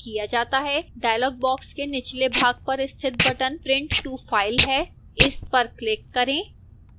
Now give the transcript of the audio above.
dialog box के निचले भाग पर स्थित button print to file है इस पर क्लिक करें